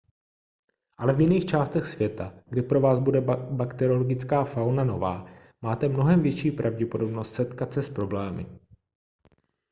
ale v jiných částech světa kde pro vás bude bakteriologická fauna nová máte mnohem větší pravděpodobnost setkat se s problémy